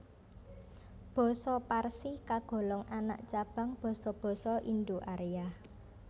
Basa Parsi kagolong anak cabang basa basa Indo Arya